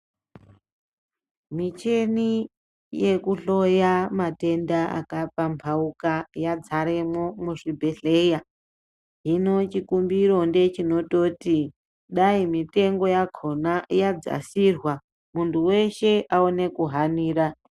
Michini yekuhloya matenda akaphambauka yadzaremwo muzvibhedhlera hino chikumbiro ngechinototi dai mutengo yakona yadzasirwa muntu weshe aone kuhanira.